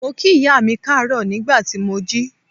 Mo kí ìyá mi káàárọ̀ nígbà tí mo jí.